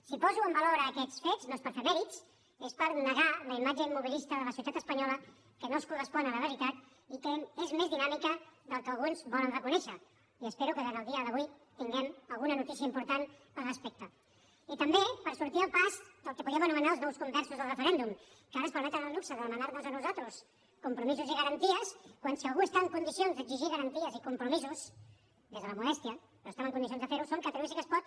si poso en valor aquests fets no és per fer mèrits és per negar la imatge immobilista de la societat espanyola que no es correspon amb la realitat i que és més dinàmica del que alguns volen reconèixer i espero que durant el dia d’avui tinguem alguna notícia important al respecte i també per sortir al pas del que podíem anomenar els nous conversos al referèndum que ara es permeten el luxe de demanar nos a nosaltres compromisos i garanties quan si algú està en condicions d’exigir garanties i compromisos des de la modèstia però estem en condicions de fer ho som catalunya sí que es pot